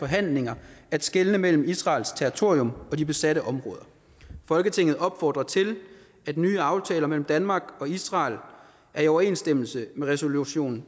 handlinger at skelne mellem israels territorium og de besatte områder folketinget opfordrer til at nye aftaler mellem danmark og israel i overensstemmelse med resolution